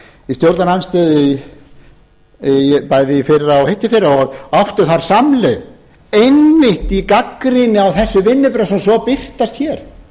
í stjórnarandstöðu bæði í fyrra og hitteðfyrra og áttum þar samleið einmitt í gagnrýni á þessi vinnubrögð sem svo birtast hér